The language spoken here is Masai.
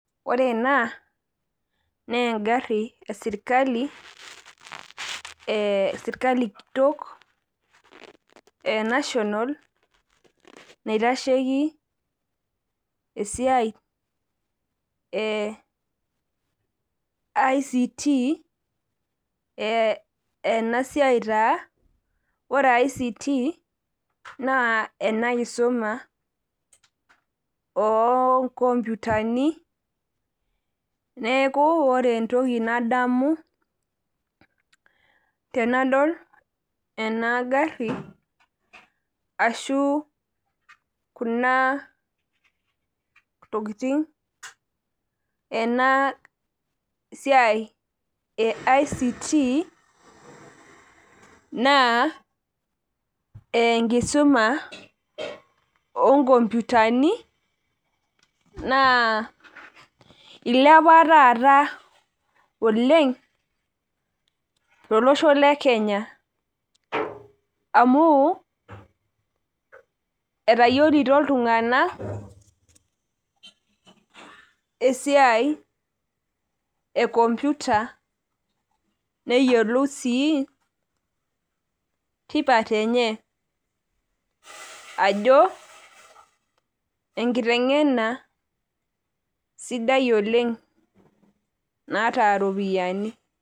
ore ena naa egari esirikali kitok enational naitasheki esiai ICT ore ICT naa ena kisuma oo inkopuitani, neeku ore entoki nadamu tenadol ena gari ashu kuna tokitin enasiai eict naa enkisuma oo inkompuitani naa ilepa taata oleng tolosho lekenya, amu etayiolito iltung'anak esiai ekompuita neyiolou sii tipat ajo esiai enkiteng'ena naata iropiyiani.